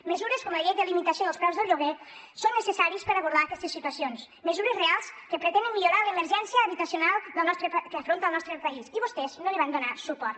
mesures com la llei de limitació dels preus del lloguer són necessàries per abordar aquestes situacions mesures reals que pretenen millorar l’emergència habitacional que afronta el nostre país i vostès no li van donar suport